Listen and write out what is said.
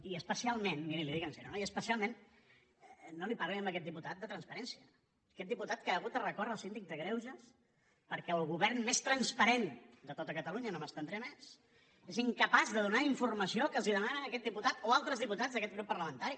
i especialment miri li ho dic seriosament no li parlin a aquest diputat de transparència a aquest diputat que ha hagut de recórrer al síndic de greuges perquè el govern més transparent de tot catalunya no m’estendré més és incapaç de donar la informació que els demana aquest diputat o altres diputats d’aquest grup parlamentari